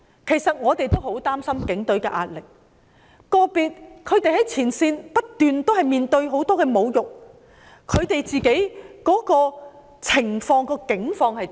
其實，我們都很擔心警隊的壓力，個別警員在前線不斷面對很多侮辱，他們的境況是怎樣？